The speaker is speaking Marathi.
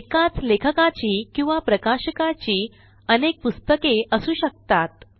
एकाच लेखकाची किंवा प्रकाशकाची अनेक पुस्तके असू शकतात